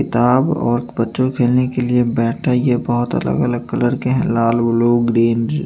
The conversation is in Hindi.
किताब और बच्चों खेलने के लिए बैठा यह बहुत अलग अलग कलर के हैं लाल ब्लू ग्रीन ।